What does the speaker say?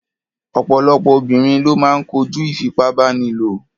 Ọ̀pọ̀lọpọ̀ obìnrin ló máa ń kojú ìfipábánilò.